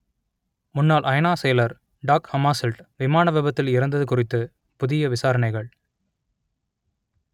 முன்னாள் ஐநா செயலர் டாக் ஹமாசெல்ட் விமான விபத்தில் இறந்தது குறித்து புதிய விசாரணைகள்